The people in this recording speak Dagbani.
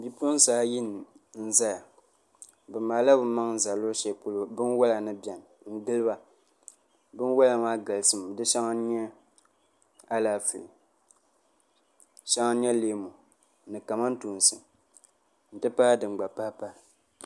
Bipuɣunsi ayi n ʒɛya bi maala bi maŋ ʒɛ luɣu shɛli polo binwola ni biɛni n giliba binwola maa galisimi di shɛŋa n nyɛ Alaafee di shɛŋa n nyɛ leemu ni kamantoosi n ti pahi din gba pahipahi